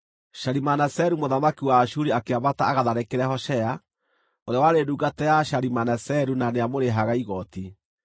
Shalimaneseru mũthamaki wa Ashuri akĩambata agatharĩkĩre Hoshea, ũrĩa warĩ ndungata ya Shalimaneseru na nĩamũrĩhaga igooti.